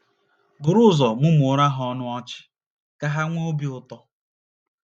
Buru ụzọ mụmụọrọ ha ọnụ ọchị ka ha nwee obi ụtọ.